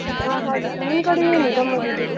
ಹ ಹಾಗೆ ನಿಮ್ಕಡೆ ಏನ್ ಗಮ್ಮತ್ ಇದೆ?